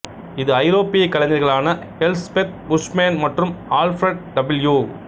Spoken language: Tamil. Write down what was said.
இது ஐரோப்பிய கலைஞர்களான எல்ஸ்பெத் புஷ்மேன் மற்றும் ஆல்ஃபிரட் டபிள்யூ